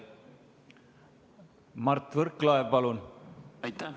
Mart Võrklaev, palun!